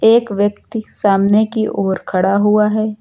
एक व्यक्ति सामने की ओर खड़ा हुआ है।